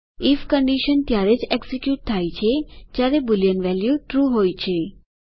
if condition ત્યારે જ execute થાય છે જયારે બુલિયન વેલ્યુ ટ્રૂ હોય છે